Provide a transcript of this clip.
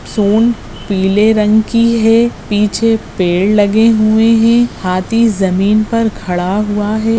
सूंड पीले रंग की है पीछे पेड़ लगे हुए हैं हाथी जमीन पर खड़ा हुआ है।